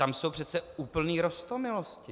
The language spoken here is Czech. Tam jsou přece úplné roztomilosti.